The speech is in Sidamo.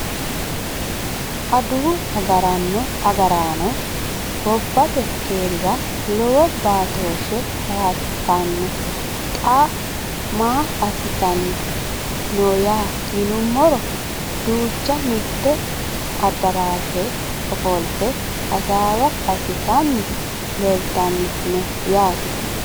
Adawu agaraano gobbate keerira lowo baatooshe baattano xa maa assitan nooyya yinumoro duuchu mitte adaraashera ofolite hasaawa assitanni leelitanni no yaate